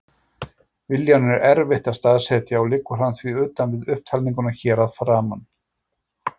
Viljann er erfitt að staðsetja og liggur hann því utan við upptalninguna hér að framan.